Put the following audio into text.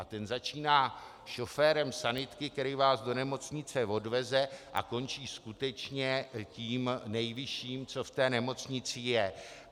A ten začíná šoférem sanitky, který vás do nemocnice odveze, a končí skutečně tím nejvyšším, co v té nemocnici je.